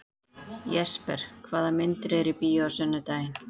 Jesper, hvaða myndir eru í bíó á sunnudaginn?